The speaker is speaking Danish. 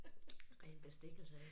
Ren bestikkelse af